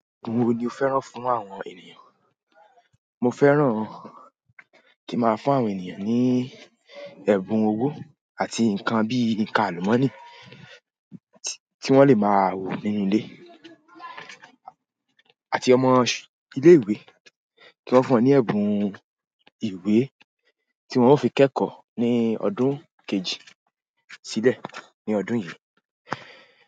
Ògùn wo ni o fẹ́ràn fún àwọn ènìyàn? Mo fẹ́ràn kí n máa fún àwọn ènìyàn ní ẹ̀bùn owó àti nǹkan bí i nǹkan àlùmọ́ọ́nì tí wọ́n lè máa wò nínú ilé àti ọmọ ilé ìwé kí wọ́n fún un ní ẹ̀bùn ìwé tí wọ́n ó fi kẹ́kọ̀ọ́ ní ọdún kejì sílẹ̀ ní ọdún yìí.